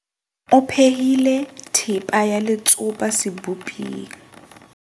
O phehile thepa ya letsopa seboping.